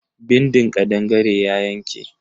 Bindin kadangare ya yanke.